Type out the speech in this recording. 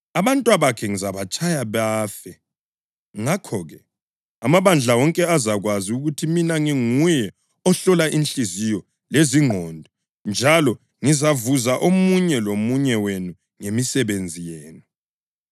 Abantwabakhe ngizabatshaya bafe. Ngakho-ke, amabandla wonke azakwazi ukuthi mina nginguye ohlola inhliziyo lezingqondo njalo ngizavuza omunye lomunye wenu ngemisebenzi yenu.